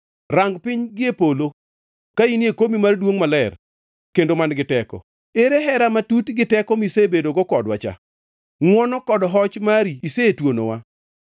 Rang piny gie polo ka in e komi mar duongʼ, maler kendo man-gi teko? Ere hera matut gi teko misebedogo kodwa cha? Ngʼwono kod hoch mari isetuonowa.